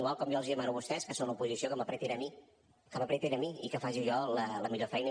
igual com jo els demano a vostès que són l’oposició que m’ apretin a mi que m’ apretin a mi i que faci jo la millor feina